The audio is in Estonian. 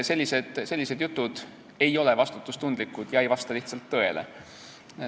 Sellised jutud ei ole vastutustundlikud ega vasta lihtsalt tõele.